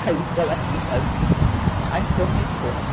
Aí ela disse assim, ah, então me conta.